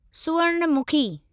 सुवर्णमखी